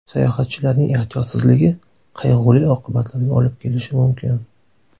Sayohatchilarning ehtiyotsizligi qayg‘uli oqibatlarga olib kelishi mumkin.